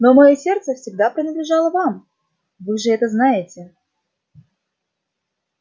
но моё сердце всегда принадлежало вам вы же это знаете